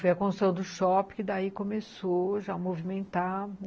Foi a construção do shopping que daí começou já a movimentar.